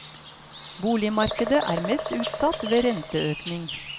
Boligmarkedet er mest utsatt ved renteøkning.